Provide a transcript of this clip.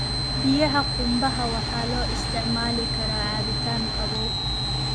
Biyaha qumbaha waxaa loo isticmaali karaa cabitaan qabow.